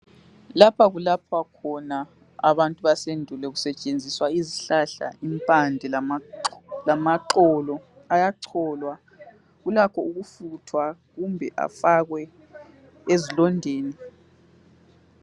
Lapha kulapha khona abantu basendulo. Kusetshenziswa izihlahla, impande lamaxo...lamaxolo. Ayacholwa. Kulakho ukufuthwa, kumbe afakwe ezilondeni.